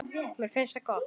Mér finnst það gott.